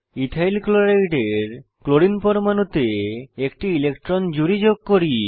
ethyl ক্লোরাইডের chlorine পরমানুতে একটি ইলেকট্রনের জুড়ি যোগ করি